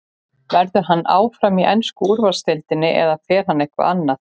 Verður hann áfram í ensku úrvalsdeildinni eða fer hann eitthvert annað?